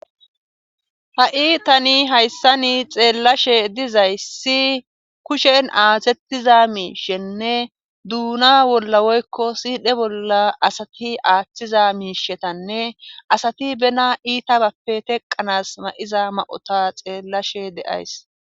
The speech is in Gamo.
Ha'i tani hayssani xeellashe dizayssi kushen aatettiza miishenne duuna bolla woykko siidhe bolla asati aaththiza miishetanne asati bena iita bappe teqqanas ma7iza ma'ota xeellashe deays.